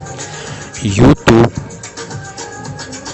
юту